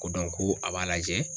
Ko ko a b'a lajɛ